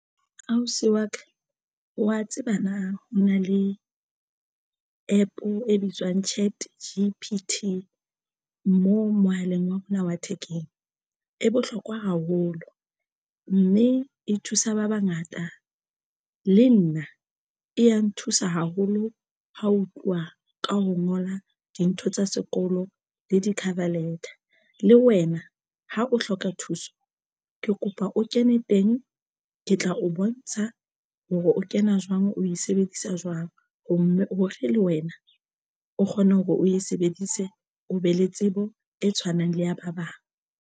Ausi wa ka wa tseba na ho na le APP e bitswang ChatGPT mo mohaleng wa bona wa thekeng e bohlokwa haholo mme e thusa ba bangata le nna e ya nthusa haholo. Ha ho tluwa ka ho ngola dintho tsa sekolo le di-cover letter. Le wena ha o hloka thuso, ke kopa o ke ne teng ke tla o bontsha hore o kena jwang, o e sebedisa jwang ho mo hore le wena o kgone hore o e sebedise o be le tsebo e tshwanang le ya ba bang.